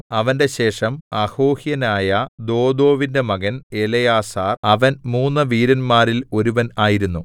അവന്റെ ശേഷം അഹോഹ്യനായ ദോദോവിന്റെ മകൻ എലെയാസാർ അവൻ മൂന്നു വീരന്മാരിൽ ഒരുവൻ ആയിരുന്നു